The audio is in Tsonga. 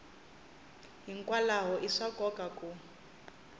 hikwalaho i swa nkoka ku